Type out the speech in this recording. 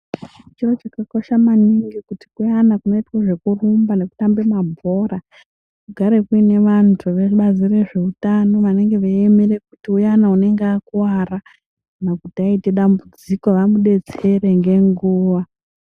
Chiro chakakosha maningi kuti kuyana kunoitwa zvekurumba nekutambe mabhora kugare kuine vantu vebazi rezveutano vanenge veiemere kuti uyani unenge akuwara kana kuti aite dambudziko vamudetsere ngenguwa.